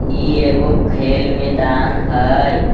ई एगो खेल मैदान हई।